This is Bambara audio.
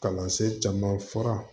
Kalansen caman fara